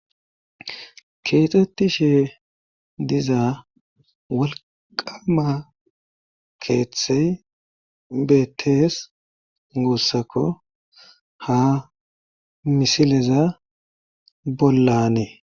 Keexettishe diza walqama keeththey beettees guussakko ha misileza bollanee.